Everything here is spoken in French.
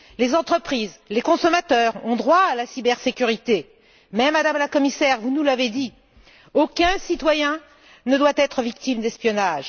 Les entreprises, les consommateurs ont droit à la cybersécurité mais, Madame la commissaire vous nous l'avez dit aucun citoyen ne doit être victime d'espionnage.